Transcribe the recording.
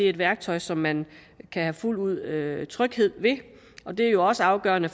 et værktøj som man fuldt ud have tryghed ved og det er jo også afgørende